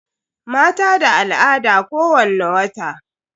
Mata da al'ada kowani wata.